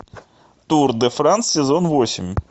тур де франс сезон восемь